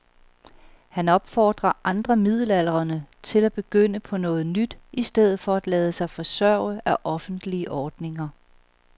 Han opfordrer andre midaldrende til at begynde på noget nyt i stedet for at lade sig forsørge af offentlige ordninger.